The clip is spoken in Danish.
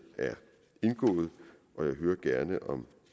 er indgået og jeg hører gerne om